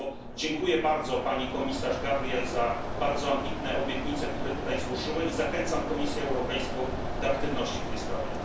Dlatego bardzo dziękuję pani komisarz Gabriel za bardzo ambitne obietnice, które tutaj złożyła, i zachęcam Komisję Europejską do aktywności w tej sprawie.